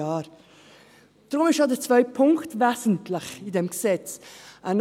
Deshalb ist auch der zweite Punkt in diesem Gesetz wesentlich.